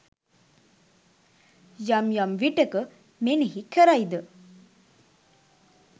යම් යම් විටක මෙනෙහි කරයි ද